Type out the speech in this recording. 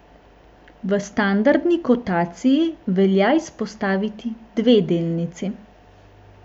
V standardni kotaciji velja izpostaviti dve delnici.